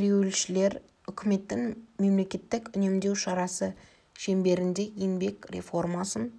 ереуілшілер үкіметтің мемлекеттік үнемдеу шарасы шеңберінде еңбек реформасын